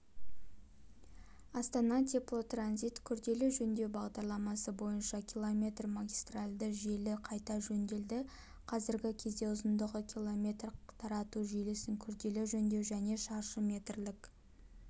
астана-теплотранзит күрделі жөндеу бағдарламасы бойынша км магистральді желі қайта жөнделді қазіргі кезде ұзындығы км тарату желісін күрделі жөндеу және шаршы метрлік